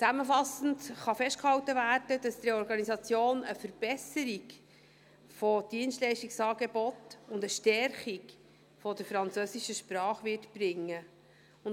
Zusammenfassend kann festgehalten werden, dass die Reorganisation eine Verbesserung des Dienstleistungsangebots und eine Stärkung der französischen Sprache bringen wird.